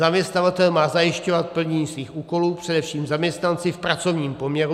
Zaměstnavatel má zajišťovat plnění svých úkolů především zaměstnanci v pracovním poměru.